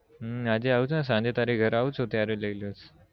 હમ આજે આવું છુ સાંજે તારા ઘરે આવું છુ ત્યારે લઇ લઈશ